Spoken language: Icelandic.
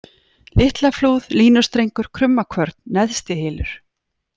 Litlaflúð, Línustrengur, Krummakvörn, Neðstihylur